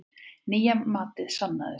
Nýja matið sannaði sig.